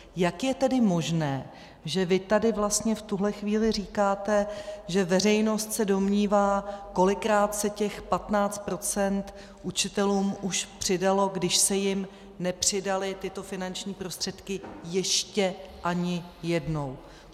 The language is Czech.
Jak je tedy možné, že vy tady vlastně v tuhle chvíli říkáte, že veřejnost se domnívá, kolikrát se těch 15 % učitelům už přidalo, když se jim nepřidaly tyto finanční prostředky ještě ani jednou?